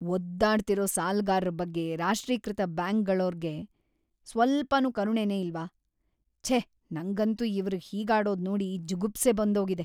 ಒದ್ದಾಡ್ತಿರೋ ಸಾಲಗಾರ್ರ ಬಗ್ಗೆ ರಾಷ್ಟ್ರೀಕೃತ ಬ್ಯಾಂಕ್‌ಗಳೋರ್ಗೆ ಸ್ವಲ್ಪನೂ ಕರುಣೆನೇ ಇಲ್ವಾ? ಛೇ ನಂಗಂತೂ ಇವ್ರ್‌ ಹೀಗಾಡೋದ್‌ ನೋಡಿ ಜುಗುಪ್ಸೆ ಬಂದೋಗಿದೆ.